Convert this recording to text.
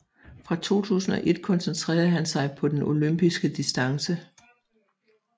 Fra 2001 koncentrere han sig på den Olympisk Distance